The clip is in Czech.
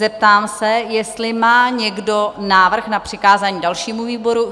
Zeptám se, jestli má někdo návrh na přikázání dalšímu výboru?